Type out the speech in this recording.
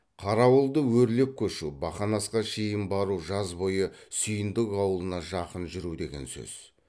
қарауылды өрлеп көшу бақанасқа шейін бару жаз бойы сүйіндік ауылына жақын жүру деген сөз